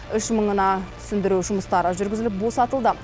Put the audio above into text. үш мыңына түсіндіру жұмыстары жүргізіліп босатылды